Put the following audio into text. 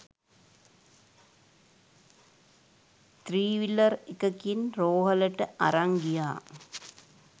three wheeler එකකින් රෝහලට අරන් ගියා